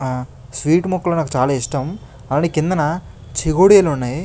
ఆహ్ స్వీటు ముక్కలు నాకు చాలా ఇష్టం అలానే కిందన చేగోడీలు ఉన్నాయి.